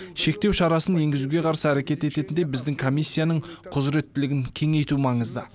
шектеу шарасын енгізуге қарсы әрекет ететіндей біздің комиссияның құзыреттілігін кеңейту маңызды